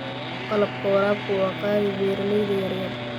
Qalabka waraabku waa qaali beeralayda yaryar.